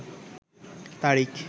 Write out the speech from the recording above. তারিখ